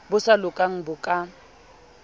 bo sa lokang bo ka